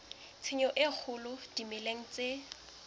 tshenyo e kgolo dimeleng tse